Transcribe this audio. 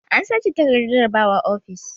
An sace takardar jarabawa ofis.